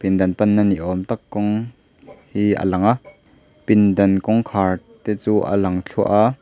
pindan pan na niawm tak kawng hi a lang a pindan kawngkhar te chu a lang thluah a.